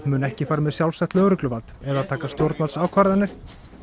mun ekki fara með sjálfstætt lögregluvald eða taka stjórnvaldsákvarðanir